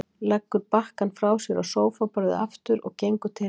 Leggur bakkann frá sér á sófaborðið aftur og gengur til hennar.